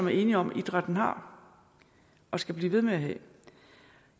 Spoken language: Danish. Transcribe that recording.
er enige om idrætten har og skal blive ved med at have